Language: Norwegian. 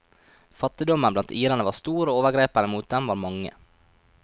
Fattigdommen blant irene var stor, og overgrepene mot dem var mange.